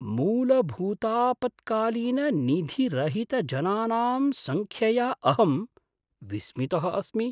मूलभूतापत्कालीननिधिरहितजनानां सङ्ख्यया अहं विस्मितः अस्मि।